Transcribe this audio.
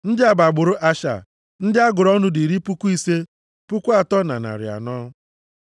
Ndị a bụ agbụrụ Asha. Ndị a gụrụ ọnụ dị iri puku ise, puku atọ na narị anọ (53,400).